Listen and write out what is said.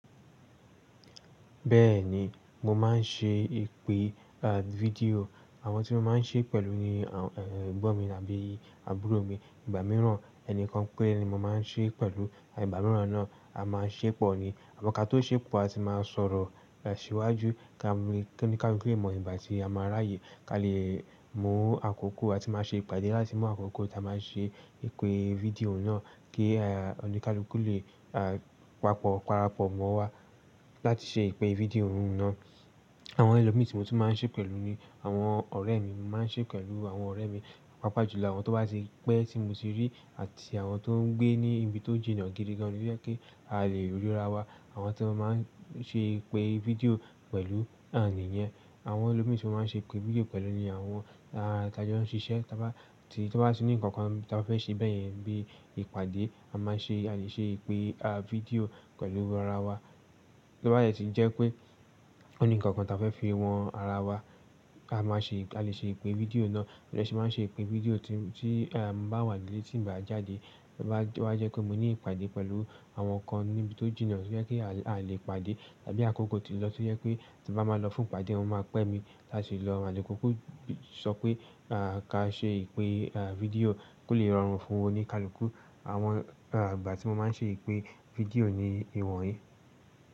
Bẹ́ẹ̀ni, mo máa ń ṣe ìpè, à, fídíò. Àwọn tí mo máa ń ṣe pẹ̀lú ni, ẹgbọ́n mi àbí àbúrò mi. Ìgbà mìíràn ẹnìkan péré ni mo máa ń ṣe pẹ̀lú. Àìgbà mìíràn náà a máa ṣépọ̀ ni. Àmọ́ ká tó ṣépọ̀ a ti máa sọ̀rọ̀ sí wájú kí oni-kálùkù lè mọ̀ ìgbà tí a máa ráyè. Ká lè mú àkókò a ti máa ṣe ìpàdé láti mú àkókò tí a máa ṣe ìpè fídíò náà kí, oni-kálùkù lè, pàpọ̀ para pọ̀ mọ́ wa láti ṣe ìpè fídíò náà. Àwọn ẹlòmí tí mo tún máa ń ṣe pẹ̀lú ni àwọn ọ̀rẹ́ mi. Mo máa ń ṣe pẹ̀lú àwọn ọ̀rẹ́ mi, pàápàá jùlọ àwọn tó bá ti pẹ́ tí mo ti rí àti àwọn tó ń gbé ní ibi tó jìnà gidi gan tó yẹ pé a lè rí ara wa. Àwọn tí mo máa ń ṣe ìpè fídíò pẹ̀lú nà ǹìyẹn. Àwọn ẹlòmíi tí mo máa ń ṣe ìpè fídíò pẹ̀lú ni àwọn, ta jon ṣiṣẹ́. Tí wọ́n bá ní ǹkan kan tí a bá fẹ́ ṣe bẹ́ẹ̀ yẹn bí ìpàdé a máa ṣe, a lè ṣe ìpè, fídíò pẹ̀lú ara wa. Tí ó bá yẹ ti jẹ́ pé ó ní ǹkan kan tí a fẹ́ fi wọn ara wa, a máa ṣe, a lè ṣe ìpè fídíò náà. Mo dẹ̀ sì máa ń ṣe ìpè fídíò tí, tí, mo bá wà nílé tí ǹ bá jáde. Bí bá wá jẹ́ kó mo ní ìpàdé pẹ̀lú àwọn kan níbi tó jìnà kí a lè ìpàdé àbí àkókò tó lọ tí ó yẹ pé tí bá máa lọ fún ìpàdé wọ́n máa pẹ́ mi láti lọ. Àle kukú sọ pé, ká ṣe ìpè, fídíò kó lè rọrùn fún oni-kálùkù. Àwọn, ìgbà tí mo máa ń ṣe ìpè fídíò ni ìwọ̀n yìí.